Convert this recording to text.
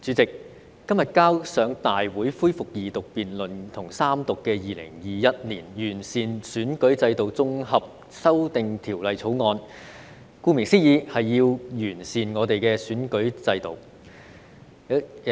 主席，今天提交大會恢復二讀辯論及三讀的《2021年完善選舉制度條例草案》，顧名思義，是要"完善"我們的選舉制度。